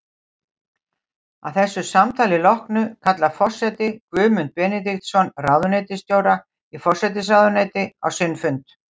Að þessu samtali loknu kallar forseti Guðmund Benediktsson, ráðuneytisstjóra í forsætisráðuneyti, á sinn fund.